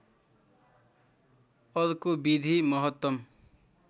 अर्को विधि महत्तम